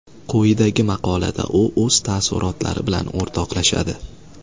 Quyidagi maqolada u o‘z taassurotlari bilan o‘rtoqlashadi.